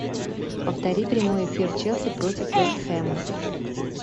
повтори прямой эфир челси против вест хэма